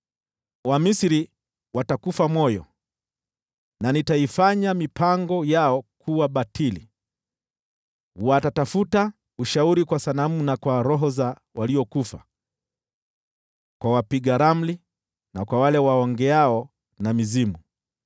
Wamisri watakufa moyo, na nitaibatilisha mipango yao. Watatafuta ushauri kwa sanamu na kwa roho za waliokufa, kwa waaguzi na kwa wale waongeao na mizimu.